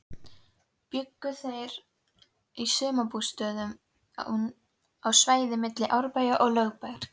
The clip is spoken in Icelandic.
Bjuggu þeir í sumarbústöðum á svæðinu milli Árbæjar og Lögbergs.